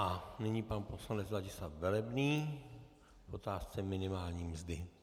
A nyní pan poslanec Ladislav Velebný k otázce minimální mzdy.